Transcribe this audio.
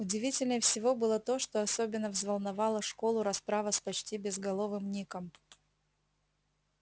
удивительнее всего было то что особенно взволновала школу расправа с почти безголовым ником